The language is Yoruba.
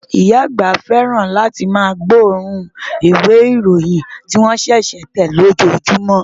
Ìyá àgbà fẹ́ràn láti mú gbọ́ òórùn ìwé ìròyìn tí wón ṣẹ̀ṣẹ̀ tẹ̀ lójoójúmọ